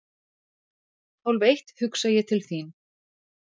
Hálfeitt hugsa ég til þín.